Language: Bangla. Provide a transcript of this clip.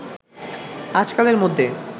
আজকালের মধ্যে